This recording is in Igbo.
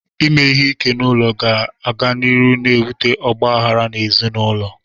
Ime ihe ike n'ụlọ ga-aga n'iru n'ebute ọgbaghara n'ezinaụlọ.